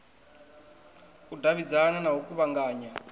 u davhidzana na u kuvhanganya